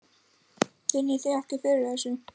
Finnið þið ekki fyrir þessu?